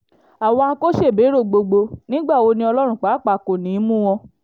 àwọn akọ́ṣẹ́bẹ̀rọ gbogbo nígbà wo ni ọlọ́run pàápàá kò ní í mú wọn